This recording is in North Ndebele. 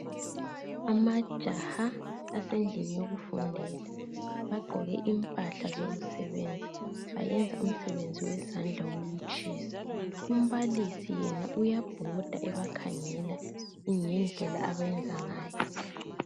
Amajaha asendlini yokufundela bagqoke impahla zokusebenza bayenza umsebenzi wezandla wokutshisa. Umbalisi yena uyabhoda ebakhangela ngendlela abayenza ngayo.